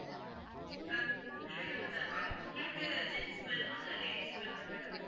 தான் madam உங்களுக்கு gents வேணுமா இல்ல ladies வேணுமா madam